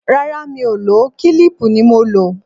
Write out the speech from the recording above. Rárá, Mi ò lò ó, kílíìpù ni mo lò.